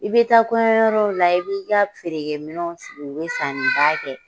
I bɛ taa kɔɲɔyɔrɔw la i b'i ka feerekɛminɛ sigi bɛ sanniba kɛ